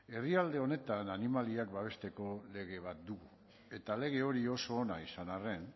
herrialde honetan animaliak babesteko lege bat du eta lege hori oso ona izan arren